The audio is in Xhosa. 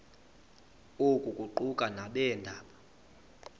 oku kuquka nabeendaba